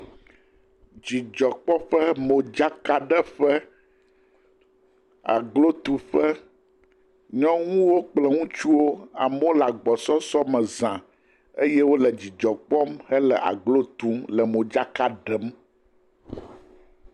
Dzidzɔkpɔƒe, modzakaɖeƒe, aglotuƒe nyɔnuwo kple ŋutsuwo. Amewo le agbɔsɔsɔ me za eye wole dzidzɔ kpɔm hele aglo tum le modzaka ɖem.